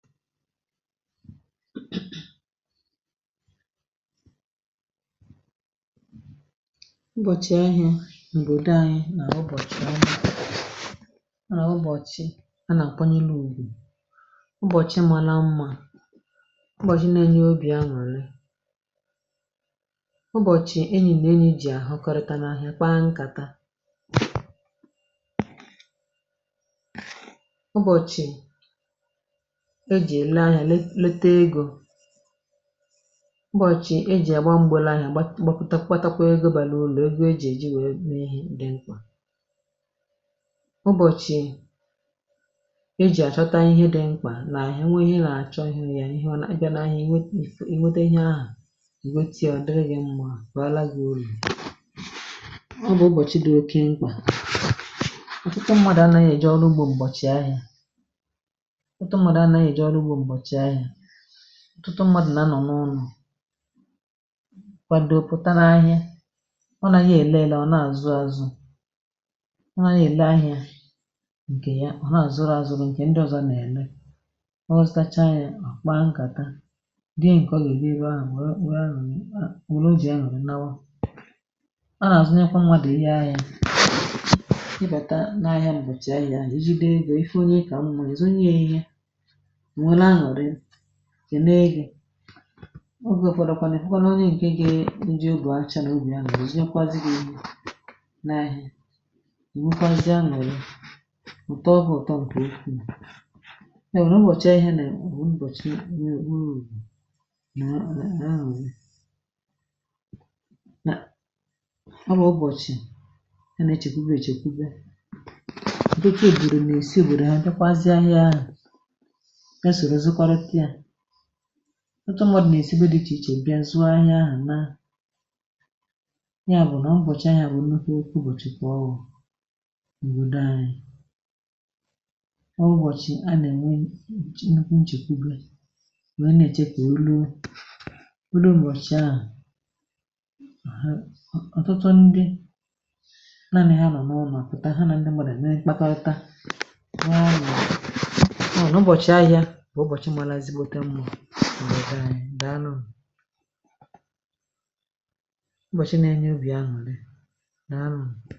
Ụbọ̀chị̀ áhiá n'ọbọdọ anyị na-awụ ụbọchị Ọ na -awụ ụbọ̀chị̀ a nà àkwanyelu ùgwù, ụbọ̀chị màrà mmȧ, ụbọ̀chị̀ na-enye obì anuri, ụbọ̀chị̀ enyì nà enyi jì àhọkọrịta n’ahịa kpaa nkàta ụbọchị e jị ele áhiá le le ta egȯ, ụbọ̀chị̀ ejì àgba mgbe lee ahià gbapụ gbatakwà egȯ bàrà ùru egȯ ejì èji wèe mé ihì dị mkpà, ụbọ̀chị̀ ejì àchọta ihe dị mkpà na- ènwee ihe I nà-àchọ ịhụghi ya ị bịa n'ahịa inwėtė iwete ihe ahụ̀ ìnwete ọ̀ dịrị gị mmȧ bàrà gị ùru. Ọ bụ̀ ụbọ̀chị̀ dị oke mkpà ọ̀tụtụ mmadù anȧghị̀ eje ọrụ ugbȯ m̀bọ̀chị̀ ahịà ụtụtụ mmadụ̀ na anọ̀ n’ụnọ̀ kwado pụta n’ahịa ọ naghị ele ele ọ na-azụ azụ ọ naghị ele ahịa ǹkè ya ọ na-azụrụ azụrụ ǹkè ndị ọ̀zọ na-ele, ọ zụtacha ya ọ kpaa nkàta dịị ǹkè ọ ga-ele èbe ahụ̀ wee e e nwere obi anuri nnawa, a nà-àzụnyekwa mmadụ ìhè ahịa i bàta n’ahịa m̀bọ̀chì ahịa ahụ ejide ego ifu onye i kà mmȧ èzu nye ya ihe ọ nweru anuri kene gị, ogė ụfọdụ kwanụ ifukwanụ onye ǹke ge njị ugò acha n’obì anuri nzunyekwazinụ ihe n'áhịá, enwekwa zie anuri ụtọ gị ụtọ nke ụkwụu kama na ụbọchị áhiá na wụ ụbọchị na Ọ bu ubọchi a na-echekwuwe chekwuwe. Ọtụtụ obodo na-esi ọbọdọ ha biakwasie áhiá áhụ bịa soro zụkorita ya. Ọtụtụ mmadụ na-esi ebe dị ichè ichè bịa zụò áhiá áhụ naa, ya bụ̀ na ụbọ̀chị áhiá bụ̀ nnukwu ụbọ̀chị ka ọwu na òbodò anyị. Ọ bu ụbọ̀chị a na-enwe nnukwu nchèkwùwe wee na-èche ka ọ rụọ, mbido ụbọchị ahụ a ọ̀tụtụ ndị naani ha nọ̀ n’ụno pụtà ha nà ndị mmadụ à nà-ekpakorịta wéé anuri ya na ụbọchị áhiá bu ubọchi mara ezigbote mma na obodo anyị dàalụnu ụbọchị na-enye Obi anuri dàalụnu.